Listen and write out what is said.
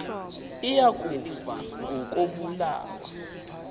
iya kufa ngokobulawa